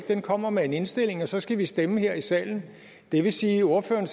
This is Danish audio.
den kommer med en indstilling og så skal vi stemme her i salen det vil sige at ordføreren